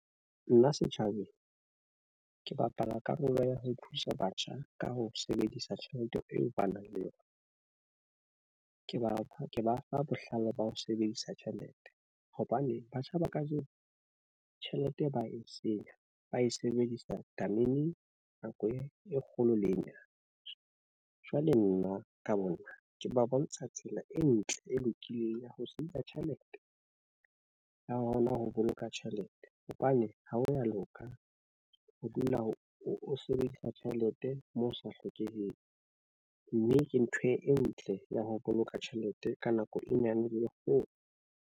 Nna setjhabeng ke bapala karolo ya ho thusa batjha ka ho sebedisa tjhelete eo ba nang le yona. Ke ba ke ba fe bohlale ba ho sebedisa tjhelete hobane batjha ba kajeno tjhelete ba e senya ba e sebedisa tameneng nako e kgolo le e nyane. Jwale nna ka bo nna ke ba bontsha tsela e ntle e lokileng ya ho sebedisa tjhelete ha hona ho boloka tjhelete hobane ho ha ya loka ho dula ho o sebedisa tjhelete moo o sa hlokeheng mme ke ntho e ntle ya ho boloka tjhelete ka nako e nyane lekgolo.